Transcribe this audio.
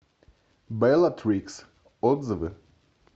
беллатрикс отзывы